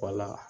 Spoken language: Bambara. Wala